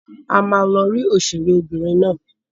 A ma lọ ri òṣèré obìnrin náà.